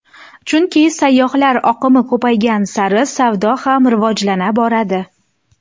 Chunki sayyohlar oqimi ko‘paygan sari savdo ham rivojlana boradi.